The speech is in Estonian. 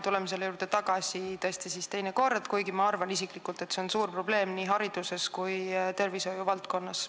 Tuleme selle juurde tagasi teine kord, kuigi ma isiklikult arvan, et see on probleem nii hariduses kui ka tervishoiuvaldkonnas.